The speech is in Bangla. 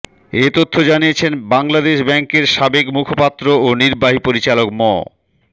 এ তথ্য জানিয়েছেন বাংলাদেশ ব্যাংকের সাবেক মুখপাত্র ও নির্বাহী পরিচালক ম